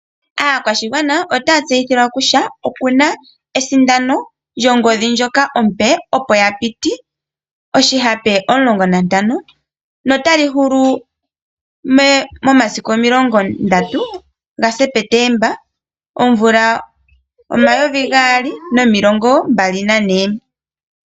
Aakwashigwana otaya tseyithilwa kutya oku na esindano lyongodhi ndjoka ompe opo ya piti oshihape 15 notali hulu momasiku 30 Septemba 2024.